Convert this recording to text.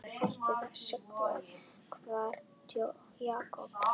Hættu þessu þvaðri, Jakob.